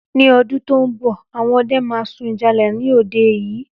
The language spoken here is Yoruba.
Ní odún to n bò, àwọn ọdẹ ma sun ìjálá ni òde yìí.